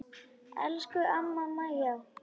Elsku amma Maja.